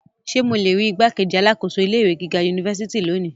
Ṣe mo le rii igbákejì alákòóso ilé ìwé gíga unifásitì loni?